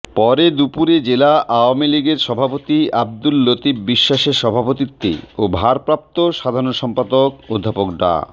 পরে দুপুরে জেলা আওয়ামীলীগের সভাপতি আব্দুল লতিফ বিশ্বাসের সভাপতিত্বে ও ভারপ্রাপ্ত সাধারণ সম্পাদক অধ্যাপক ডা